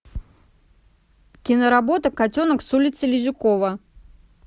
киноработа котенок с улицы лизюкова